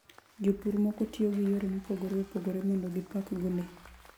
Jopur moko tiyo gi yore mopogore opogore mondo gipakgo le.